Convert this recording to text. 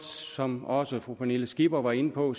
som også fru pernille skipper var inde på